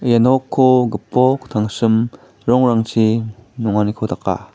ia nokko gipok tangsim rongrangchi nonganiko daka.